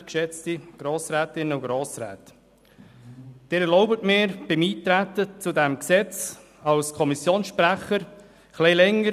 Erlauben Sie mir als Kommissionssprecher in der Eintretensdebatte zu diesem Gesetz etwas länger zu sprechen.